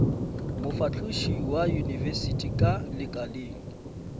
mofahloši wa yunibesithi ka lekaleng